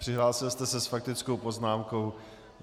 Přihlásil jste se s faktickou poznámkou.